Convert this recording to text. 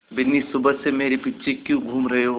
बिन्नी सुबह से मेरे पीछे क्यों घूम रहे हो